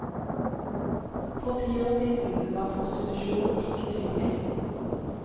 For ti år siden var prostitusjon ikke synlig.